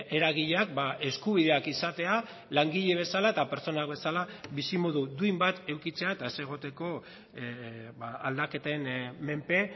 eragileak eskubideak izatea langile bezala eta pertsonak bezala bizimodu duin bat edukitzea eta ez egoteko aldaketen menpe